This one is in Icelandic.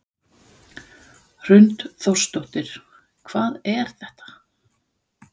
Hrund Þórsdóttir: Hvað er þetta?